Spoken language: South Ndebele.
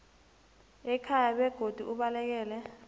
ekhaya begodu ubalekele